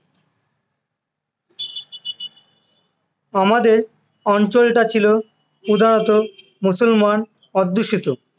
আমাদের অঞ্চলটা ছিল প্রধানত মুসলমান অধ্যুষিত,